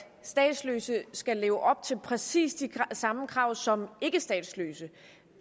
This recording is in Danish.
statsløse skal leve op til præcis de samme krav som ikkestatsløse